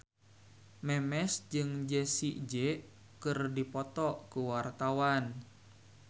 Memes jeung Jessie J keur dipoto ku wartawan